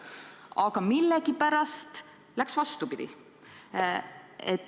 Aga millegipärast läks vastupidi.